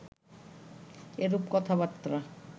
এরূপ কথাবার্তা